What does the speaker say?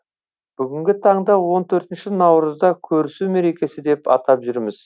бүгінгі таңда он төртінші наурызда көрісу мерекесі деп атап жүрміз